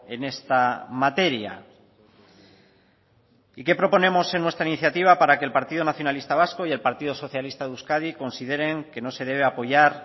en esta materia y que proponemos en nuestra iniciativa para que el partido nacionalista vasco y el partido socialista de euskadi consideren que no se debe apoyar